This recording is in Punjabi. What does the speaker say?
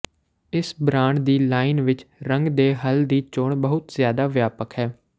ਇਸ ਬ੍ਰਾਂਡ ਦੀ ਲਾਈਨ ਵਿੱਚ ਰੰਗ ਦੇ ਹੱਲ ਦੀ ਚੋਣ ਬਹੁਤ ਜ਼ਿਆਦਾ ਵਿਆਪਕ ਹੈ